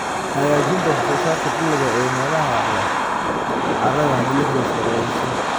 Hagaajinta wax-soo-saarka dalagga ee meelaha leh carrada milixdu sareeyso.